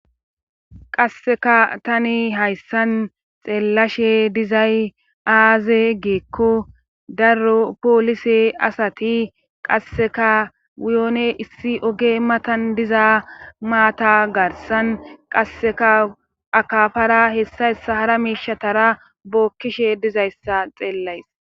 Qasseka tani hayssan xeellashe dizay aaze geekko daro poolise asati qasseka wiyone issi oge matan diza maata garsan qasseka akafara hessahssa hara miishatara bookkishe dizayssa xeellays